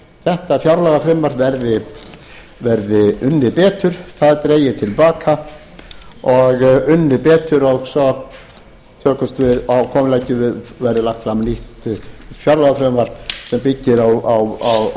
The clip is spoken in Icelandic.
þetta fjárlagafrumvarp verði unnið betur það dregið til baka og unnið betur og svo verði fram nýtt fjárlagafrumvarp sem byggir á annarri sýn